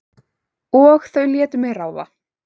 Og þau létu mig ráða.